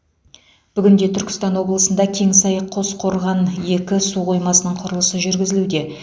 бүгінде түркістан облысында кеңсай қосқорған екі су қоймасының құрылысы жүргізілуде